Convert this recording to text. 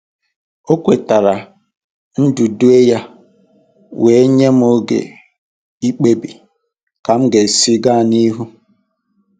O kwetara ndudue ya wee nye m oge ikpebi ka m ga-esi gaa n'ihu.